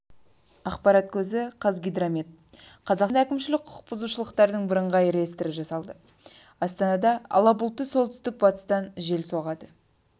ақпарат көзі қазгидромет қазақстанда әкімшілік құқық бұзушылықтардың бірыңғай реестрі жасалды астанада ала бұлтты солтүстік-батыстан жел соғады